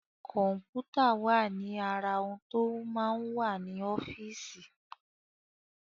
Kọ̀m̀pútà wà ní ara ohun tó máa ń wà ní ọ́fíìsì.